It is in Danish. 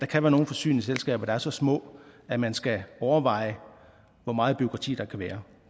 kan være nogle forsyningsselskaber der er så små at man skal overveje hvor meget bureaukrati der kan være